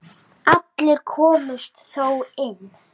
Allir komust þó inn.